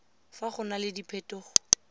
fa go na le diphetogo